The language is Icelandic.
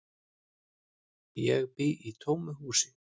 Ég bý í tómu húsi.